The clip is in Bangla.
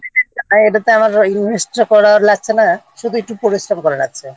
হ্যাঁ এটাতে আমার Invest-টা করার লাগছে না শুধু একটু পরিশ্রম করার লাগছে